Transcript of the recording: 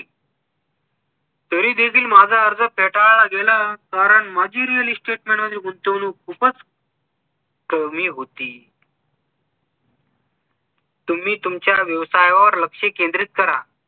तरीदेखील माझा अर्ज फेटाळला गेला कारण माझी real estate मध्ये गुंतवणूक खुपच कमी होती तुम्ही तुमच्या व्यवसायावर लक्ष केंद्रित करा